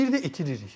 Bir də itiririk.